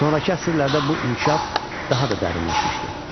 Sonrakı əsrlərdə də bu inkişaf daha da dərinləşmişdi.